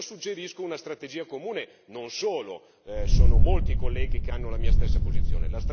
Ecco, io suggerisco una strategia comune, non solo, sono molti colleghi che hanno la mia stessa posizione.